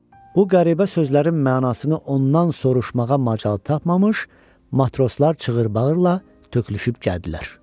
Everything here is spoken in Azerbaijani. Bu qəribə sözlərin mənasını ondan soruşmağa macal tapmamış, matroslar çığıra-bağıra tökülüşüb gəldilər.